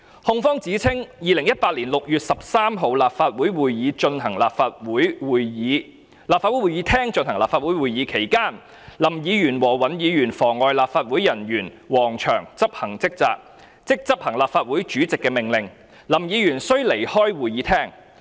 控方指稱 ，2018 年6月13日，立法會會議廳進行立法會會議，期間林議員和尹議員妨礙立法會人員王祥執行職責，即執行立法會主席的命令，林議員須離開會議廳。